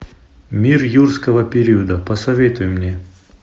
мир юрского периода посоветуй мне